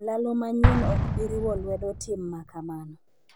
olalo manyien ok bi riwo lwedo tim ma kamano